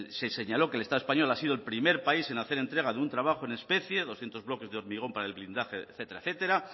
se señaló que el estado español ha sido el primer país en hacer entrega de un trabajo en especie doscientos bloques de hormigón para el blindaje etcétera